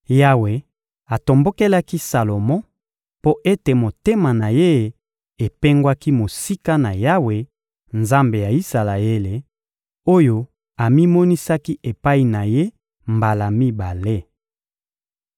Yawe atombokelaki Salomo mpo ete motema na ye epengwaki mosika na Yawe, Nzambe ya Isalaele, oyo amimonisaki epai na ye mbala mibale.